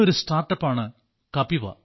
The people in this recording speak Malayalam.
ഒരു സ്റ്റാർട്ടപ് ആണ് കപിവ